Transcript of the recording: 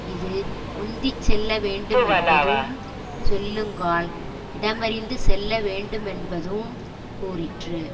இது முந்தி செல்லவேண்டுமென்பதூஉம் செல்லுங்கால் இடமறிந்து செல்ல வேண்டுமென்பதூஉம் கூறிற்று